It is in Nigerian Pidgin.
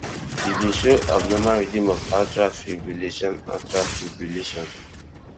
e bin show abnormal rhythm of atrial fibrillation atrial fibrillation